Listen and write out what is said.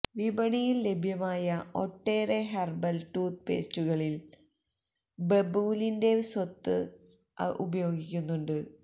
വിപണിയില് ലഭ്യമായ ഒട്ടേറെ ഹെര്ബല് ടൂത്ത് പേസ്റ്റുകളില് ബബൂലിന്റെ സത്ത് ഉപയോഗിക്കുന്നുണ്ട്